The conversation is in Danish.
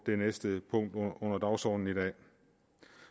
det næste punkt på dagsordenen i dag